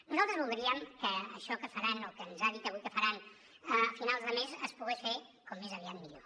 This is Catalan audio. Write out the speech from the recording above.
nosaltres voldríem que això que faran o que ens ha dit avui que faran a finals de mes es pogués fer com més aviat millor